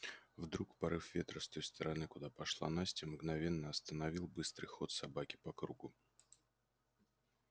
вдруг порыв ветра с той стороны куда пошла настя мгновенно остановил быстрый ход собаки по кругу